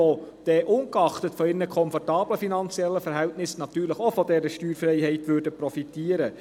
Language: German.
Diese würden, ungeachtet ihrer komfortablen Verhältnisse, natürlich auch von dieser Steuerfreiheit profitieren.